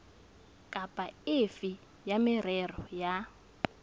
kapa efe ya merero ya